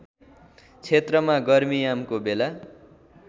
क्षेत्रमा गर्मीयामको बेला